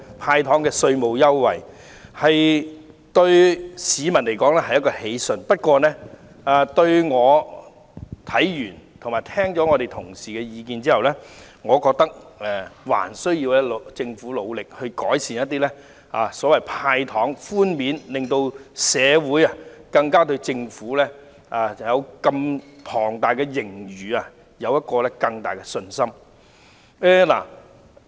"派糖"對市民來說固然是喜訊，但在審視《條例草案》和聽取同事的意見後，我認為政府仍需努力改善"派糖"寬免措施，令社會對坐擁龐大盈餘的政府加強信心。